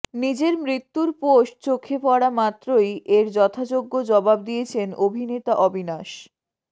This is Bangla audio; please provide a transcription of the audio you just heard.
নিজের মৃত্যুর পোস্ট চোখে পড়া মাত্রই এর যথাযোগ্য জবাব দিয়েছেন অভিনেতা অবিনাশ